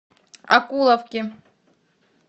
окуловке